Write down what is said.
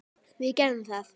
Við gerðum það.